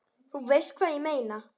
þú veist hvað ég meina.